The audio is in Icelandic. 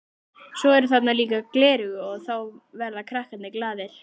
Svo eru þarna líka gleraugu og þá verða krakkarnir glaðir.